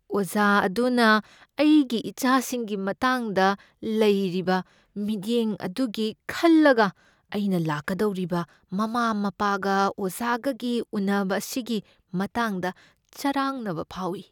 ꯑꯣꯖꯥ ꯑꯗꯨꯅ ꯑꯩꯒꯤ ꯏꯆꯥꯒꯤ ꯃꯇꯥꯡꯗ ꯂꯩꯔꯤꯕ ꯃꯤꯠꯌꯦꯡ ꯑꯗꯨꯒꯤ ꯈꯜꯂꯒ ꯑꯩꯅ ꯂꯥꯛꯀꯗꯧꯔꯤꯕ ꯃꯃꯥ ꯃꯄꯥꯒ ꯑꯣꯖꯥꯒꯒꯤ ꯎꯟꯅꯕ ꯑꯁꯤꯒꯤ ꯃꯇꯥꯡꯗ ꯆꯔꯥꯡꯅꯕ ꯐꯥꯎꯏ꯫